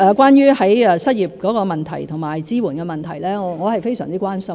關於失業的問題及支援的問題，我非常關心。